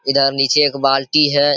इधर नीचे एक बाल्टी है।